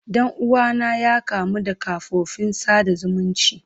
Dan uwana ya kamu da kafofin sada zumunci.